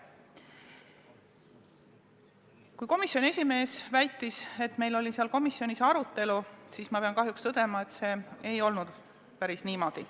Kui komisjoni esimees väitis, et meil oli komisjonis arutelu, siis mina pean kahjuks tõdema, et see ei olnud päris niimoodi.